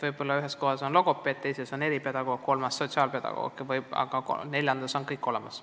Võib-olla ühes kohas on logopeed, teises on eripedagoog, kolmandas sotsiaalpedagoog, aga neljandas on kõik olemas.